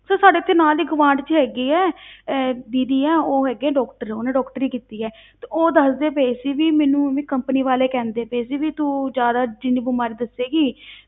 Sir ਸਾਡੇ ਇੱਥੇ ਨਾਲ ਹੀ ਗੁਆਂਢ ਵਿੱਚ ਹੈਗੀ ਹੈ ਅਹ ਦੀਦੀ ਹੈ ਉਹ ਹੈਗੇ ਹੈ doctor ਉਹਨੇ doctory ਕੀਤੀ ਹੈ ਤੇ ਉਹ ਦੱਸਦੇ ਪਏ ਸੀ ਵੀ ਮੈਨੂੰ ਵੀ company ਵਾਲੇ ਕਹਿੰਦੇ ਪਏ ਸੀ ਵੀ ਤੂੰ ਜ਼ਿਆਦਾ ਜਿੰਨੀ ਬਿਮਾਰੀ ਦੱਸੇਂਗੀ